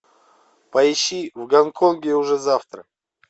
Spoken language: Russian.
поищи в гонконге уже завтра